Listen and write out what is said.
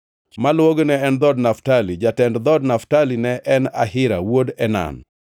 Maluwogi ne en dhood Naftali. Jatend dhood Naftali ne en Ahira wuod Enan.